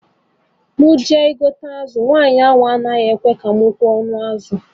M jee igote azụ, nwaanyị ahụ anaghị achọ ka mụ kwee ọnụ azụ